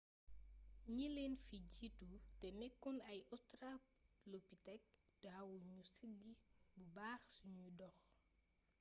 ñi leen fi jiitu te nekkoon ay australopithèque daawu ñu siggi bu baax suñuy dox